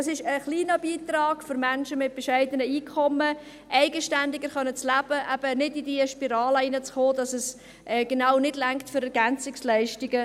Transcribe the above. Das ist ein kleiner Beitrag für Menschen mit bescheidenen Einkommen, eigenständiger leben zu können und eben nicht in diese Spirale hineinzugeraten, dass es gerade nicht für EL reicht.